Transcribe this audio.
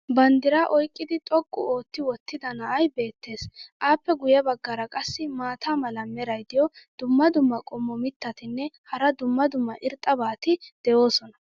Banddiraa oyqqidi xoqqu ootti wottida na"ay beettees. appe guye bagaara qassi maata mala meray diyo dumma dumma qommo mittatinne hara dumma dumma irxxabati de'oosona.